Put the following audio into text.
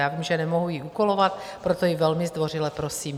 Já vím, že nemohu ji úkolovat, proto ji velmi zdvořile prosím.